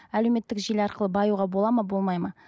әлеуметтік желі арқылы баюға болады ма болмайды ма